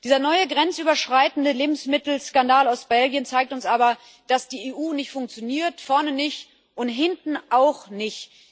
Dieser neue grenzüberschreitende Lebensmittelskandal aus Belgien zeigt uns aber, dass die EU nicht funktioniert vorne nicht und hinten auch nicht.